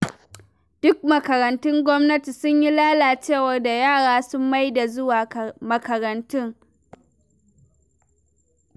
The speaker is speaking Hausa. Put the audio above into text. Duk makarantun gwamnati sun yi lalacewar da yara sun ma daina zuwa makarantun.